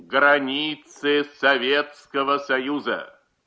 границы советского союза